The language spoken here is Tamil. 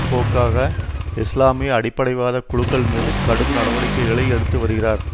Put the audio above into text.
போக்காக இஸ்லாமிய அடிப்படைவாத குழுக்கள் மீது கடும் நடவடிக்கைகளை எடுத்து வருகிறார்